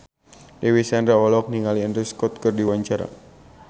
Dewi Sandra olohok ningali Andrew Scott keur diwawancara